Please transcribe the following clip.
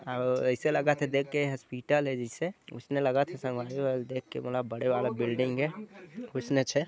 औ ऐसा लगत हे देखके हॉस्पिटल जैसे ओसने लगत हे संगवारी हो एल देखके मोला बड़े वाला बिल्डिंग ए ऑइसनेच हे।